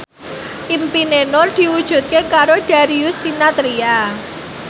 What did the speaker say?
impine Nur diwujudke karo Darius Sinathrya